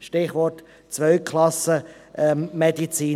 Stichwort «Zweiklassen-Medizin».